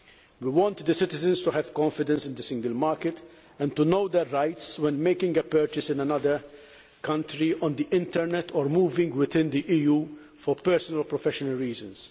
We want citizens to have confidence in the single market and to know their rights when making a purchase in another country or on the internet, or moving within the EU for personal or professional reasons.